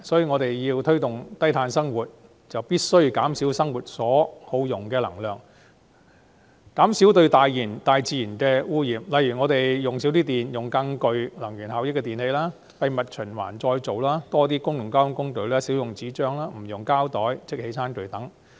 我們如要推動低碳生活，便必須減少生活所耗用的能量，減少對大自然的污染，例如減少用電、使用更具能源效益的電器、將廢物循環再造、多使用公共交通工具、少用紙張、不用膠袋和即棄餐具等。